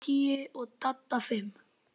Ég tíu og Dadda fimm.